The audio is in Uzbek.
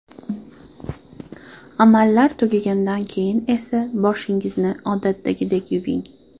Amallar tugagandan keyin esa boshingizni odatdagidek yuving.